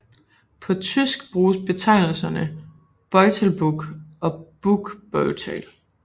På tysk bruges betegnelserne Beutelbuch og Buchbeutel